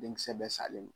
Denkisɛ bɛ salen